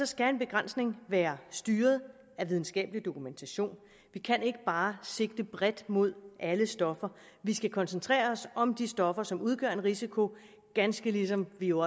skal en begrænsning være styret af videnskabelig dokumentation vi kan ikke bare sigte bredt mod alle stoffer vi skal koncentrere os om de stoffer som udgør en risiko ganske ligesom vi jo